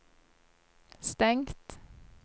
stengt